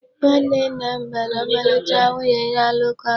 Nwanne nna m gbara ọmalịcha nwunye ya alụkwaghịm.